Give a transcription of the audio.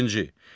Beşinci.